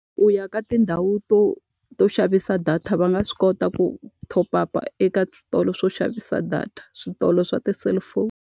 U ya ka tindhawu to to xavisa data va nga swi kota ku top up-a ya eka switolo swo xavisa data, switolo swa ti-cellphone.